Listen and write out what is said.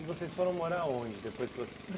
E vocês foram morar aonde depois que vocês